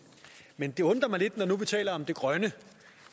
men det undrer mig lidt når nu vi taler om det grønne